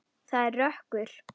Það er rökkur.